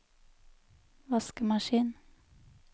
vaskemaskin